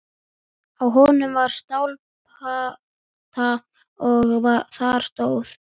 Á honum var stálplata og þar stóð: